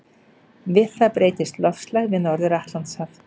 Við það breytist loftslag við Norður-Atlantshaf.